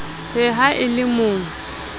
he ha e le mo